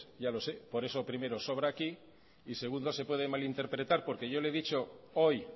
ya lo sé por eso primero sobra aquí y segundo se puede malinterpretar porque yo le he dicho hoy